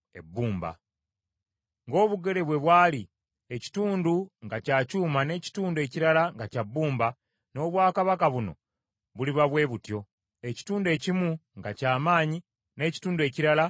Ng’obugere bwe bwali, ekitundu nga kya kyuma n’ekitundu ekirala nga kya bbumba, n’obwakabaka buno buliba bwe butyo, ekitundu ekimu nga ky’amaanyi n’ekitundu ekirala nga kinafu.